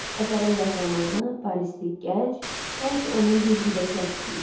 Əsərin qəhrəmanı, Parisli gənc, sanki onun güzgüdəki əksi idi.